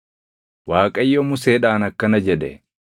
Waaqayyo Museedhaan akkana jedhe;